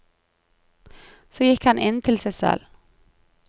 Så gikk han inn til seg selv.